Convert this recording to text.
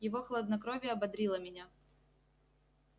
его хладнокровие ободрило меня